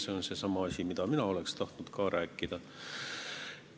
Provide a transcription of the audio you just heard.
See oli seesama, mida mina oleksin tahtnud rääkida.